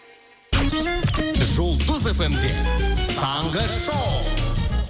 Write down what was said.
жұлдыз фм де таңғы шоу